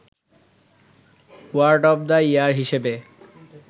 word of the year হিসেবে